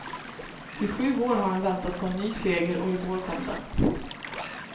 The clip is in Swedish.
I sju år har han väntat på en ny seger och i går kom den.